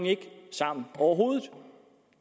sammen overhovedet